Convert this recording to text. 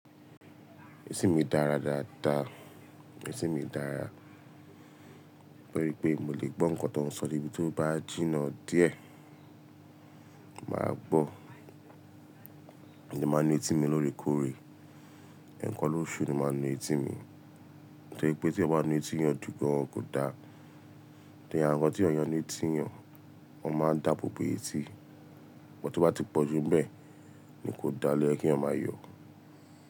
Ẹ̀tìn mi dára dáadáa, ẹ̀tìn mi dára. Torí pé mo lè gbọ́ nǹkan tó ń sọ níbí tó bá jìnnà díẹ̀, màá gbọ́. Máa n nu etí mi lóòrèkóòrè, ẹ̀ẹ̀kan lóṣù ni máa n nu etí mi. Torí pé tí yan bá nu etí yẹn jú gan kò da. Tori awon ńkan tí yàn ti letí eyan, wọ́n máa ń dáàbò bò ètí. Bọn to bá ti pọ̀ ju bẹ́ẹ̀ ni kò dá lẹ́kí wọn máa yọ̀.